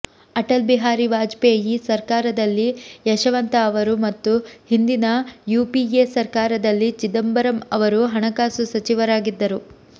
ಅಟಲ್ ಬಿಹಾರಿ ವಾಜಪೇಯಿ ಸರ್ಕಾರದಲ್ಲಿ ಯಶವಂತ ಅವರು ಮತ್ತು ಹಿಂದಿನ ಯುಪಿಎ ಸರ್ಕಾರದಲ್ಲಿ ಚಿದಂಬರಂ ಅವರು ಹಣಕಾಸು ಸಚಿವರಾಗಿದ್ದರು